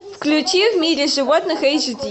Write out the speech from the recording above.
включи в мире животных эйч ди